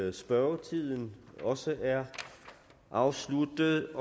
at spørgetiden også er afsluttet